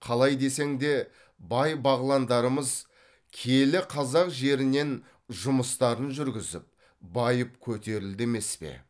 қалай десең де бай бағландарымыз киелі қазақ жерінен жұмыстарын жүргізіп байып көтерілді емес пе